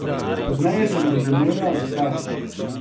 Pozneje sem razumela, zakaj.